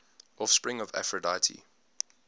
offspring of aphrodite